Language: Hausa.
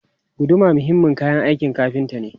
Guduma muhimmin kayan aikin kafinta ne.